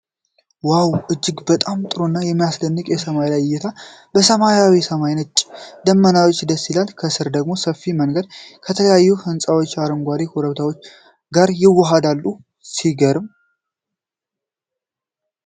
ዋው! እጅግ በጣም ጥሩ እና የሚያስደንቅ የሰማይ ላይ እይታ! ሰማያዊው ሰማይ በነጭ ደመናዎች ደስ ይላል፣ ከስር ደግሞ ሰፊ መንገድ ከተለያዩ ሕንጻዎችና አረንጓዴ ኮረብታዎች ጋር ይዋሃዳል። ሲገርም!